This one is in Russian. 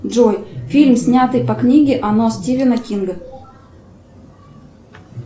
джой фильм снятый по книге оно стивена кинга